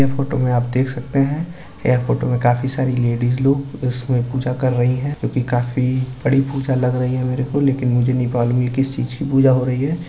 ये फोटो में आप देख सकते हैं। यह फोटो में काफी सारी लेडिस लोग इसमें पूजा कर रहे हैं क्योकि काफी बड़ी पूजा लग रही है मेरे को लेकिन मुझे नहीं मालूम ये किस चीज की पूजा हो रही है।